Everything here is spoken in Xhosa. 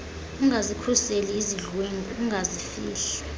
ungazikhuseli izidlwengu ungazifihli